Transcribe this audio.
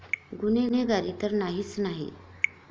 गुन्हेगारी तर नाहीच नाही.